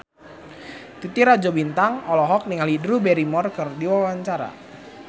Titi Rajo Bintang olohok ningali Drew Barrymore keur diwawancara